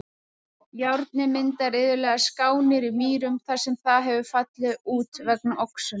Járnið myndar iðulega skánir í mýrum þar sem það hefur fallið út vegna oxunar.